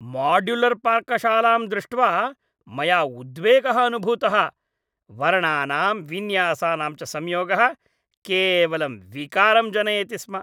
माड्युलर्पाकशालां दृष्ट्वा मया उद्वेगः अनुभूतः। वर्णानां विन्यासानां च संयोगः केवलं विकारं जनयति स्म।